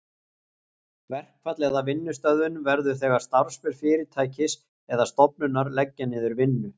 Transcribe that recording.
Verkfall eða vinnustöðvun verður þegar starfsmenn fyrirtækis eða stofnunar leggja niður vinnu.